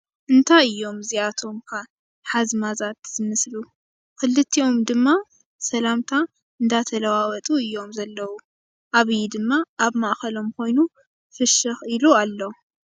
እንታይ እዮም እዚኣቶም ከ ሓዝማዛት ዝመስሉ! ኽልቲኦም ድማ ሰላምታ እንዳተላዐለዋወጡ እዮም ዘለው። ኣብይ ድማ ኣብ ማእከሎም ኮይኑ ፍሽ ኢሉ ኣሎ።